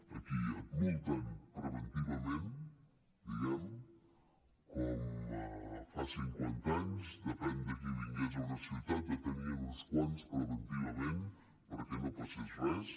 aquí et multen preventivament diguem ne com fa cinquanta anys depenent de qui vingués a una ciutat en detenien a uns quants preventivament perquè no passés res